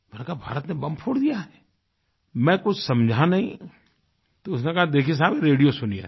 मैंने कहा भारत ने बॉम्ब फोड़ दिया है मैं कुछ समझा नहीं तो उसने कहा देखिये साहबरेडियो सुनिये